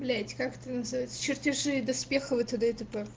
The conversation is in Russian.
блять как это называется чертежи доспехов и тд и тп